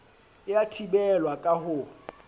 e a thibelwa ka ho